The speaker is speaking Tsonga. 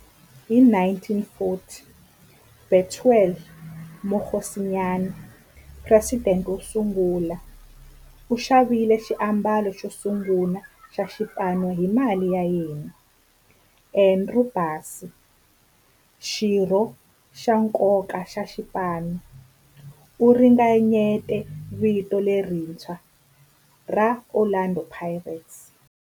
Hi 1940, Bethuel Mokgosinyane, president wosungula, u xavile xiambalo xosungula xa xipano hi mali ya yena. Andrew Bassie, xirho xa nkoka xa xipano, u ringanyete vito lerintshwa ra 'Orlando Pirates'.